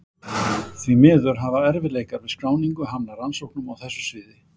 Því miður hafa erfiðleikar við skráningu hamlað rannsóknum á þessu sviði.